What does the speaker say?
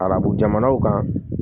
Arabu jamanaw kan